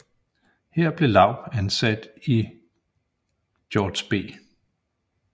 Her blev Laub ansat i George B